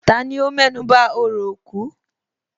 Tani ó mẹ́nuba orò òkú?